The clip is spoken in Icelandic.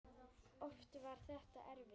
Oft var þetta erfitt.